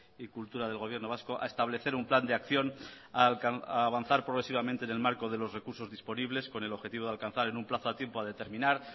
y cultura del gobierno vasco a establecer un plan de acción a avanzar progresivamente en el marco de los recursos disponibles con el objetivo de alcanzar en un plazo a tiempo a determinar